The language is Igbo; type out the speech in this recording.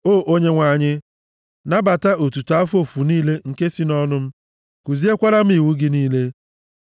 O Onyenwe anyị, nabata otuto afọ ofufu niile nke si nʼọnụ m, kuziekwara m iwu gị niile.